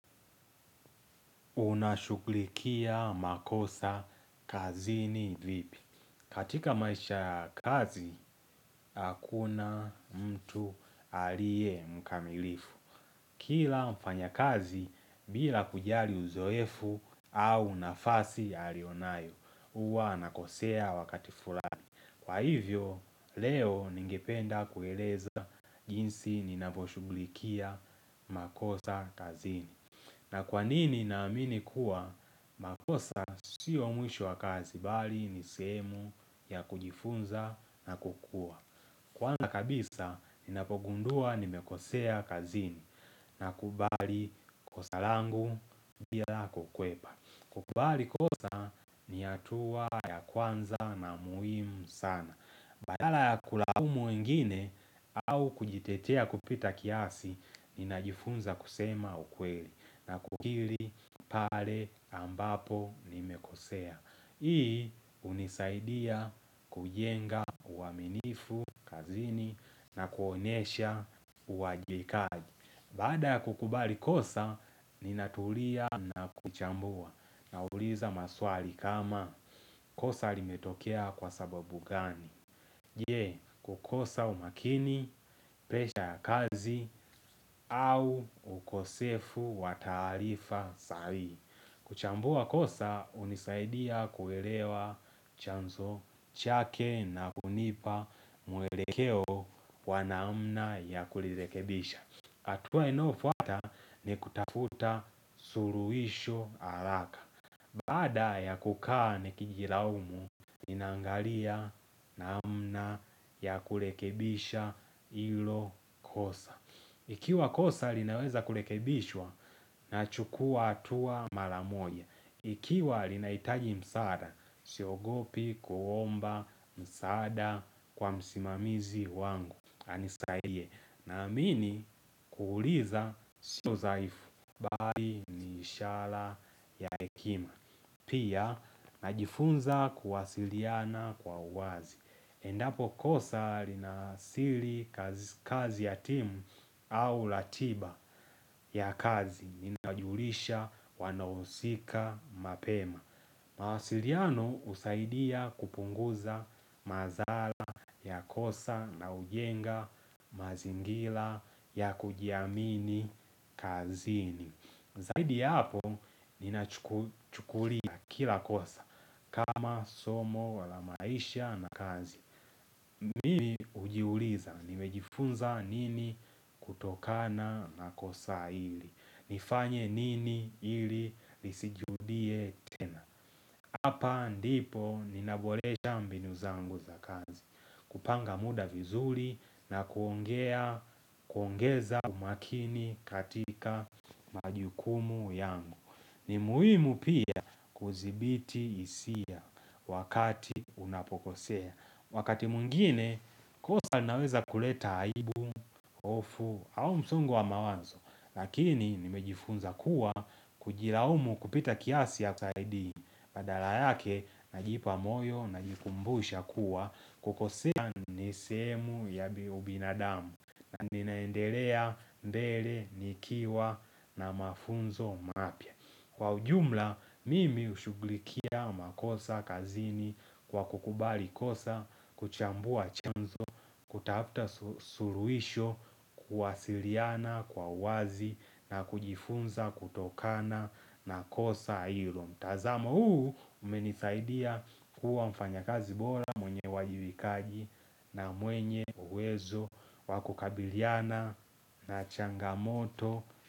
Unashughulikia makosa kazini vipi. Katika maisha ya kazi, hakuna mtu alie mkamilifu. Kila mfanyakazi bila kujali uzoefu au nafasi alionayo. Uwa anakosea wakati furani. Kwa hivyo, leo ningependa kueleza jinsi ninavyoshughulikia makosa kazini na kwa nini naamini kuwa makosa sio mwisho wa kazi bali ni sehemu ya kujifunza na kukua Kwanza kabisa ninapogundua nimekosea kazini nakubali kosa langu bila kukwepa kukubali kosa ni hatua ya kwanza na muhimu sana Badala ya kulaumu wengine au kujitetea kupita kiasi ninajifunza kusema ukweli na kukiri pale ambapo nimekosea Hii hunisaidia kujenga uaminifu kazini na kuonyesha uajibikaji Baada ya kukubali kosa ninatulia na kuchambua nauliza maswali kama kosa limetokea kwa sababu gani je, kukosa umakini, presha ya kazi au ukosefu wa taarifa sahihi. Kuchambua kosa hunisaidia kuelewa chanzo chake na kunipa mwelekeo wa naamna ya kulirekebisha. Hatua inaofuata ni kutafuta suluisho haraka. Baada ya kukaa nikijiraumu, ninangalia namna ya kurekebisha hilo kosa. Ikiwa kosa linaweza kulekebishwa nachukua hatua mara moja. Ikiwa linahitaji msaada, siogopi kuomba msaada kwa msimamizi wangu. Anisaidie naamini kuuliza sio zaifu baari ni ishala ya hekima. Pia najifunza kuwasiliana kwa uwazi. Endapo kosa linaasili kazi ya timu au la tiba ya kazi. Ninajulisha wanaohusika mapema. Mawasiriano husaidia kupunguza mazala ya kosa na hujenga mazingila ya kujiamini kazini. Zaidi ya hapo ninachukulia kila kosa kama somo la maisha na kazi. Mimi hujiuliza nimejifunza nini kutokana na kosa hili. Nifanye nini hili lisijirudie tena. Hapa ndipo ninabolesha mbinu zangu za kazi kupanga muda vizuri na kuongeza umakini katika majukumu yangu ni muhimu pia kuzibiti hisia wakati unapokosea Wakati mwingine kosa inaweza kuleta aibu, ofu au msongu wa mawazo Lakini nimejifunza kuwa kujiraumu kupita kiasi hayasaidii Badala yake, najipa moyo, najikumbusha kuwa, kukosea ni sehemu ya binadamu, na ninaendelea mbere, nikiwa, na mafunzo mapya Kwa ujumla, mimi hushugulikia makosa kazini kwa kukubali kosa, kuchambua chanzo, kutafta suruisho, kuwasiriana kwa wazi, na kujifunza kutokana na kosa hilo mtazamo huu umenisaidia kuwa mfanyakazi bora mwenye uwajibikaji na mwenye uwezo wa kukabiliana na changamoto.